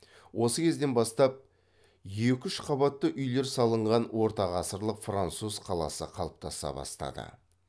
осы кезден бастап екі үш қабатты үйлер салынған ортағасырлық француз қаласы қалыптаса бастады